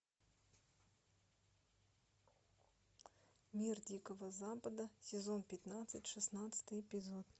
мир дикого запада сезон пятнадцать шестнадцатый эпизод